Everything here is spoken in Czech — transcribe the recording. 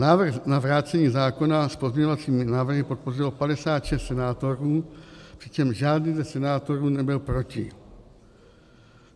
Návrh na vrácení zákona s pozměňovacími návrhy podpořilo 56 senátorů, přičemž žádný ze senátorů nebyl proti.